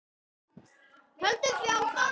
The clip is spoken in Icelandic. Höldum því áfram.